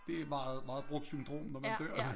Det meget meget brugt syndrom når man dør af det